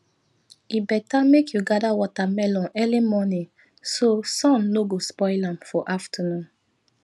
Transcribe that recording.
e better make you gather watermelon early morning so sun no go spoil am for afternoon